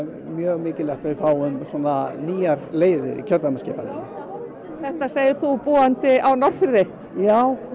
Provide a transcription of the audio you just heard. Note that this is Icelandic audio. mjög mikilvægt að við fáum nýjar leiðir í kjördæmaskipan þetta segir þú búandi á Norðfirði já